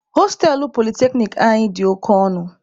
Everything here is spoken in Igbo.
Hostelụ polyteknic anyị dị oke ọnụ.